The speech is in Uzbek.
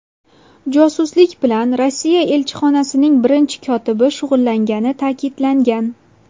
Josuslik bilan Rossiya elchixonasining birinchi kotibi shug‘ullangani ta’kidlangan.